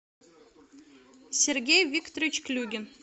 сергей викторович клюгин